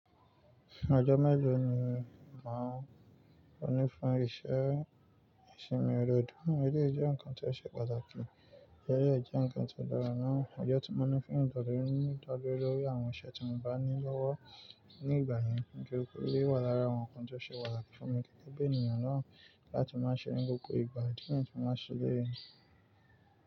Fún ọjọ́ mélòó ni máa ń ní fún iṣẹ́ ìsinmi irọ̀dú, eléyìí jẹ́ nǹkan tó ṣe pàtàkì, eléyìí jẹ́ nǹkan tó dára náà. Ọjọ́ tí mo ní fún ìdádúró ni ìdádúró lórí àwọn iṣẹ́ tí mo bá ní lọ́wọ́ ní ìgbà yẹn, kí n tó rí i wà lára àwọn nnkan tó ṣe pàtàkì fún mi gẹ́gẹ́ bí ènìyàn náà láti máa ṣeré gbogbo ìgbà, dídùn tí mo máa ṣeré ni.